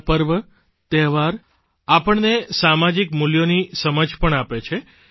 આપણા પર્વ તહેવાર આપણને સામાજિક મૂલ્યોની સમજ પણ આપે છે